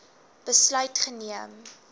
besluit geneem